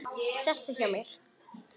Sestu hjá mér.